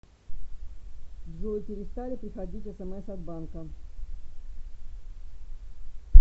джой перестали приходить смс от банка